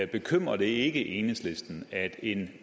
bekymrer det ikke enhedslisten at en